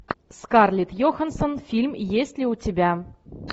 скарлетт йоханссон фильм есть ли у тебя